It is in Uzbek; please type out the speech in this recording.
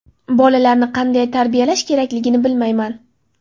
Bolalarni qanday tarbiyalash kerakligini bilmayman.